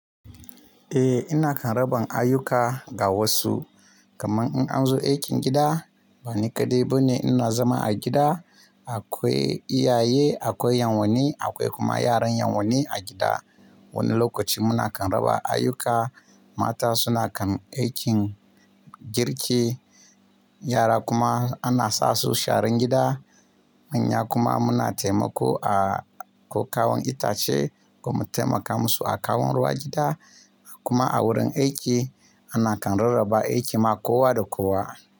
Eh, ina kan raba ayyuka ga wasu. Kaman in an zo aikin gida, bani kaɗai bane ina zama a gida. Akwai iyaye, akwai ƴan uwani, akwai kuma yaran ƴan uwani a gida. Wani lokaci muna kan raba ayyuka. Mata suna kan aikin girki, yara kuma ana sa su sharan gida. Manya kuma muna taimako a ko kawon itace ko mu taimaka musu a kawon ruwa gida. Kuma a wurin aiki ana kan rarraba aiki makowa da kowa.